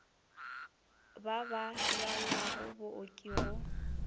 ba ba lwalago booki go